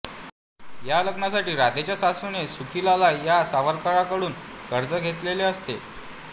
या लग्नासाठी राधेच्या सासूने सुखीलाला या सावकाराकडून कर्ज घेतलेले असते